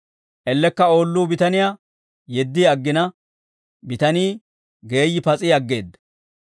Ellekka oolluu bitaniyaa yeddi aggina, bitanii geeyyi pas'i aggeedda.